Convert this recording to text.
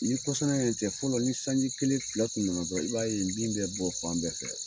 Ni kɔsan yɛrɛ tɛ fɔlɔ ni sanji kelen, fila tun nana dɔrɔn, i b'a ye bin bɛ bɔ fan bɛɛ fɛ.